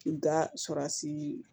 N ka surasi